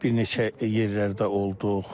Bir neçə yerlərdə olduq.